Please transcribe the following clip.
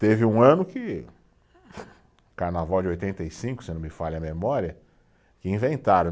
Teve um ano que, carnaval de oitenta e cinco, se não me falha a memória, que inventaram.